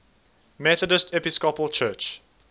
methodist episcopal church